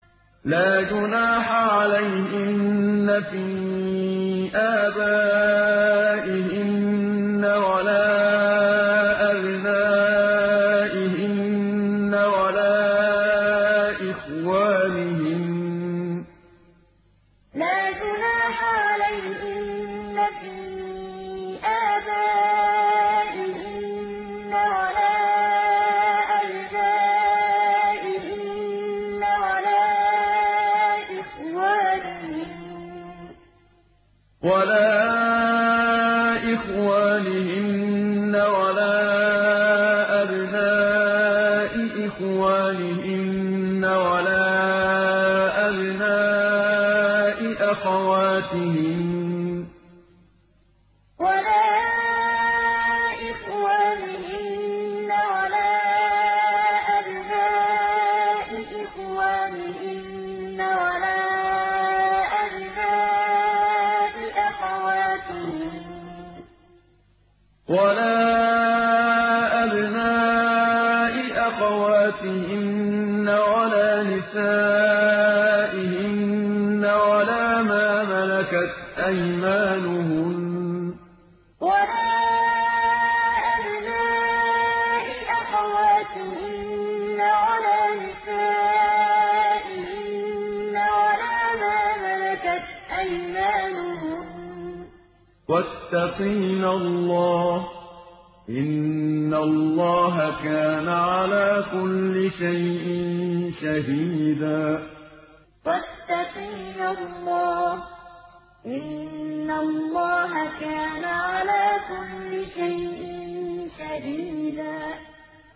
لَّا جُنَاحَ عَلَيْهِنَّ فِي آبَائِهِنَّ وَلَا أَبْنَائِهِنَّ وَلَا إِخْوَانِهِنَّ وَلَا أَبْنَاءِ إِخْوَانِهِنَّ وَلَا أَبْنَاءِ أَخَوَاتِهِنَّ وَلَا نِسَائِهِنَّ وَلَا مَا مَلَكَتْ أَيْمَانُهُنَّ ۗ وَاتَّقِينَ اللَّهَ ۚ إِنَّ اللَّهَ كَانَ عَلَىٰ كُلِّ شَيْءٍ شَهِيدًا لَّا جُنَاحَ عَلَيْهِنَّ فِي آبَائِهِنَّ وَلَا أَبْنَائِهِنَّ وَلَا إِخْوَانِهِنَّ وَلَا أَبْنَاءِ إِخْوَانِهِنَّ وَلَا أَبْنَاءِ أَخَوَاتِهِنَّ وَلَا نِسَائِهِنَّ وَلَا مَا مَلَكَتْ أَيْمَانُهُنَّ ۗ وَاتَّقِينَ اللَّهَ ۚ إِنَّ اللَّهَ كَانَ عَلَىٰ كُلِّ شَيْءٍ شَهِيدًا